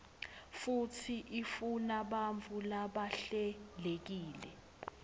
futsi ifunabantfu labahlelekile